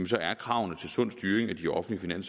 så er kravene til sund styring af de offentlige